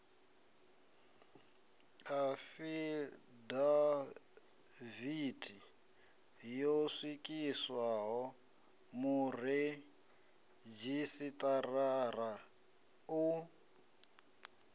afidavithi yo swikiswaho muredzhisitarara u